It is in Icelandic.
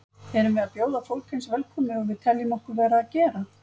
Erum við að bjóða fólk eins velkomið og við teljum okkur vera að gera?